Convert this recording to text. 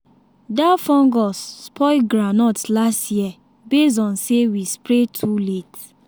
that fungus spoil groundnut last year base on say we spray too late.